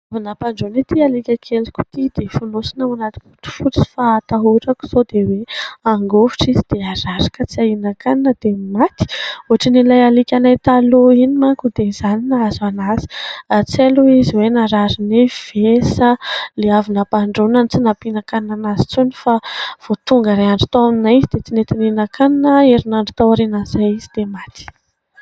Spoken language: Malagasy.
Vao nampandroana ity alika keliko ity dia fonosina ao anaty bodofotsy fa hatahorako sao dia hoe hangovitra izy dia marary ka tsy hahinan-kanina dia maty. Ohatrin'ilay alikanay taloha iny manko dia izany nahazo an'azy . tsy hay aloha izy hoe narary nify ve sa ilay avy nampandroana ny tsy nampihinan-kanina an'azy intsony fa vao tonga iray andro tao aminay izy dia tsy nety nihinan-kanina herinandro tao aoriana izay izy dia maty.